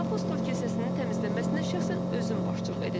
Apostol kilsəsinin təmizlənməsinə şəxsən özüm başçılıq edəcəyəm.